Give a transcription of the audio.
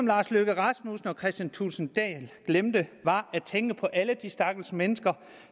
lars løkke rasmussen og herre kristian thulesen dahl glemte var at tænke på alle de stakkels mennesker